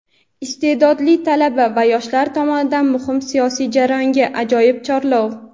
Isteʼdodli talaba va yoshlar tomonidan muhim siyosiy jarayonga ajoyib chorlov.